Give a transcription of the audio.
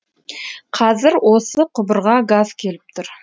қазір осы құбырға газ келіп тұр